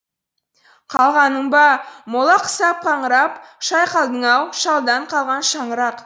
қалғаның ба мола құсап қаңырап шайқалдың ау шалдан қалған шаңырақ